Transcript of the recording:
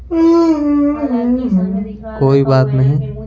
कोई बात नहीं।